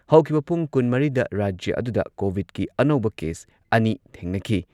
ꯍꯧꯈꯤꯕ ꯄꯨꯡ ꯲꯴ ꯗ ꯔꯥꯖ꯭ꯌ ꯑꯗꯨꯗ ꯀꯣꯚꯤꯗꯀꯤ ꯑꯅꯧꯕ ꯀꯦꯁ ꯑꯅꯤ ꯊꯦꯡꯅꯈꯤ